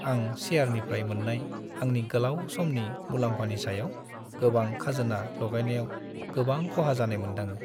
आं शेयारनिफ्राय मोननाय आंनि गोलाव समनि मुलाम्फानि सायाव गोबां खाजोना लागायनायाव गोबां खहा जानाय मोनदाङो।